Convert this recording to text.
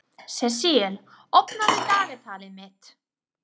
Sesil, opnaðu dagatalið mitt.